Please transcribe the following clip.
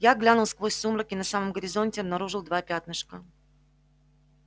я глянул сквозь сумрак и на самом горизонте обнаружил два пятнышка